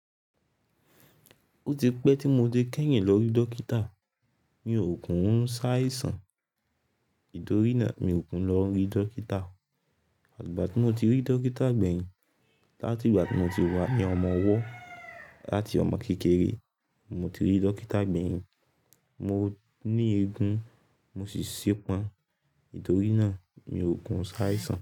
Ó ti pẹ́ tí mo ti kẹ́yìn lọ rí dókítà. Mi ò kin ṣàìsàn, nítorí náà mi ò kin lọ rí dókítà. Àgbà tí mo ti rí dókítà gbẹ̀yìn, láti ìgbà tí mo ti wá ní ọmọ ọwọ́ láti ọmọ kékeré, mo ti rí dókítà gbẹ̀yìn. Mo ní eegun mo sì ṣepọn, nítorí náà mi ò kin ṣàìsàn.